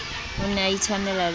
o ne a itshwanela le